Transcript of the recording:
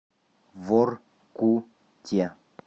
воркуте